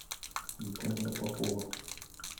виталия попова